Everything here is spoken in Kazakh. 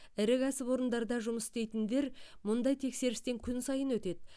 ірі кәсіпорындарда жұмыс істейтіндер мұндай тексерістен күн сайын өтеді